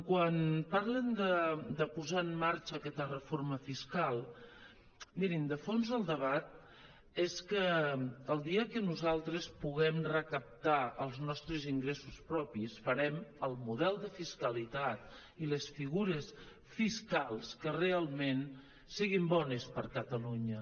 quan parlen de posar en marxa aquesta reforma fiscal mirin de fons el debat és que el dia que nosaltres puguem recaptar els nostres ingressos propis farem el model de fiscalitat i les figures fiscals que realment siguin bones per a catalunya